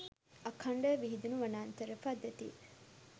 අඛණ්ඩව විහිදුණු වනාන්තර පද්ධතිය